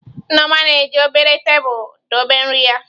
Nneoma na-eji obere tabụl dobe nri ya.